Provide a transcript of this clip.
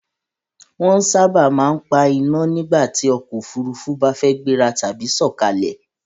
Wọ́n sábà máa ń pa iná nígbàtí ọkọ̀ Òfurufú bá fẹ́ gbéra tàbí sọ̀kalẹ̀